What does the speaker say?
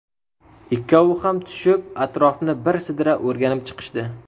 Ikkovi ham tushib, atrofni bir sidra o‘rganib chiqishdi.